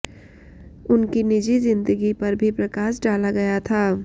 उनकी निजी जिंदगी पर भी प्रकाश डाला गया था